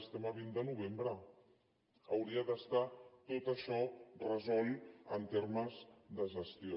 estem a vint de novembre hauria d’estar tot això resolt en termes de gestió